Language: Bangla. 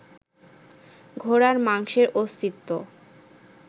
ঘোড়ার মাংসের অস্তিত্ব